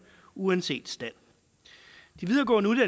uanset stand de videregående